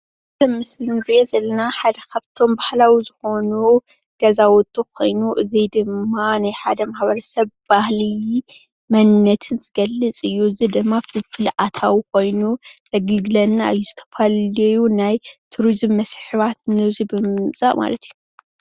ብምስሊ እንርእዮ ዘለና ሓደ ካብቶም ባህላዊ ኮይኑ ገዛውቲ ኮይኑ እዙይ ድማ ናይ ሓደ ማሕበረሰብ ባህሊ መንነትን ዝገልፅ እዩ። እዙይ ድማ ፍልፍል ኣታዊ ኮይኑ የግልግለና እዩ። ዝተፈላለየዩ ናይ ቱሪዝም መስሕባት ናብዚ ብምምፃእ ማለት እዩ።